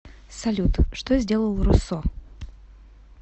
салют что сделал руссо